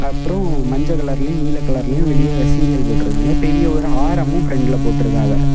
அப்புறம் மஞ்ச கலர்லியு நீலக் கலர்லியும் வெளியே சீரியல் போட்ருக்காங்க. பெரிய ஒரு ஆரமு பிரண்ட்ல போட்டு இருக்காவ.